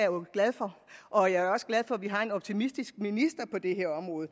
jo glad for og jeg er også glad for at vi har en optimistisk minister på det her område